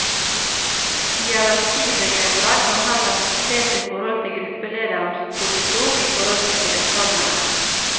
Hierarkibegrepet kan heller ses i forhold til gruppelederens posisjon i forhold til deltakerne.